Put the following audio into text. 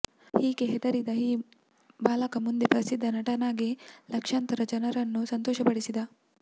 ಹೀಗೆ ಹೆದರಿದ ಈ ಬಾಲಕ ಮುಂದೆ ಪ್ರಸಿದ್ಧ ನಟನಾಗಿ ಲಕ್ಷಾಂತರ ಜನರನ್ನು ಸಂತೋಷಪಡಿಸಿದ